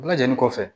Bɛɛ lajɛlen kɔfɛ